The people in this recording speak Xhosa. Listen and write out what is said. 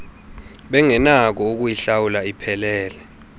bengenakho ukuyihlawula iphelele